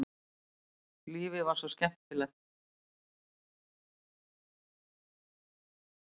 Lífið var svo skemmtilegt.